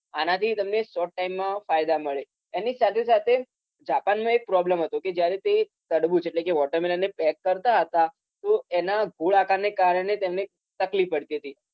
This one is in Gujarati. આનાથી તમને short time માં ફાયદા મળે. એની સાથેસાથે Japan માં એક problem હતો કે જયારે તે તડબૂચ એટલે કે watermelon ને pack કરતા હતા તો એના ગોળાકારને કારણે તેમને તકલીફ પડતી હતી